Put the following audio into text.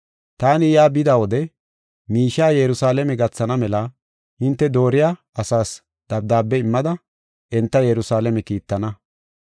Taani yaa bida wode miishiya Yerusalaame gathana mela hinte dooriya asaas dabdaabe immada enta Yerusalaame kiittana.